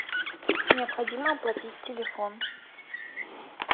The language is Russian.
необходимо оплатить телефон